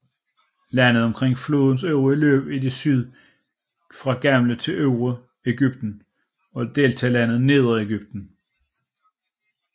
Landet omkring flodens øvre løb i syd kaldes fra gammel tid Øvre Egypten og deltalandet Nedre Egypten